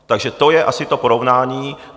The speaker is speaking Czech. Takže to je asi to porovnání.